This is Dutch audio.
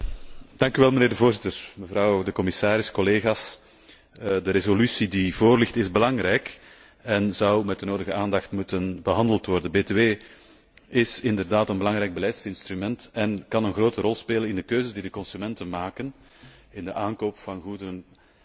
Voorzitter, mevrouw de commissaris, collega's, de resolutie die voorligt is belangrijk en zou met de nodige aandacht behandeld moeten worden. Btw is inderdaad een belangrijk beleidsinstrument en kan een grote rol spelen in de keuzes die de consumenten maken in de aankoop van goederen of niet.